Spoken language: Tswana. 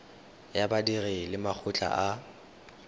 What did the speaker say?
ya badiri le makgotla a